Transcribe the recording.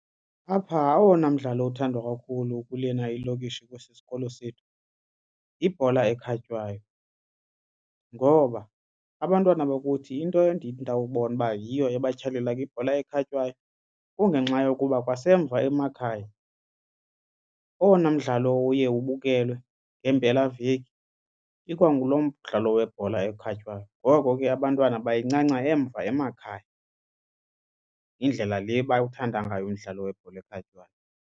Apha owona mdlalo uthandwa kakhulu kulena ilokishi kwesi sikolo sethu yibhola ekhatywayo ngoba abantwana bakuthi into ndawubona uba yiyo ebatyhalela kwibhola ekhatywayo kungenxa yokuba kwasemva emakhaya owona mdlalo uye ubukelwe ngeempelaveki ikwangulo mdlalo webhola ekhatywayo ngoko ke abantwana bayincanca emva emakhaya. Yindlela le bawuthanda ngayo umdlalo webhola ekhatywayo.